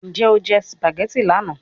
Njẹ o jẹ macaroni lana?